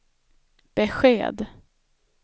besked